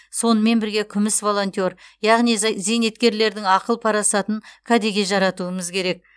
сонымен бірге күміс волонтер яғни зейнеткерлердің ақыл парасатын кәдеге жаратуымыз керек